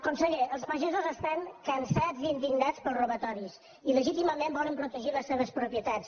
conseller els pagesos estan cansats i indignats pels robatoris i legítimament volen protegir les seves propietats